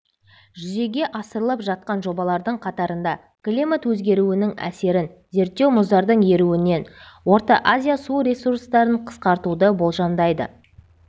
жүзеге асырылып жатқан жобалардың қатарында климат өзгеруінің әсерін зерттеу мұздардың еруінен орта азия су ресурстарын қысқартуды болжамдайды